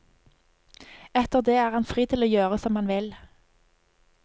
Etter det er han fri til å gjøre som han vil.